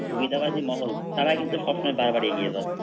সুবিধাবাদী মহল তারা কিন্তু সব সময় বারবার এগিয়ে যায়।